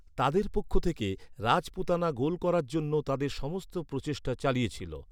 তাদের পক্ষ থেকে, রাজপুতানা গোল করার জন্য তাদের সমস্ত প্রচেষ্টা চালিয়েছিল।